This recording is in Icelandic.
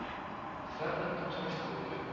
Þverrandi traust áhyggjuefni